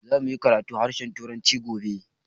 Za mu yi karatun harshen turanci gobe